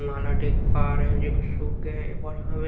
नाला देख पा रहे हैं जोकि सुख गए हैं --